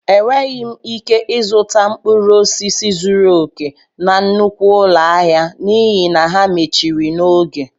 Enweghị m ike zụta mkpụrụ osisi zuru oke na nnukwu ụlọ ahịa n'ihi na ha mechiri n'oge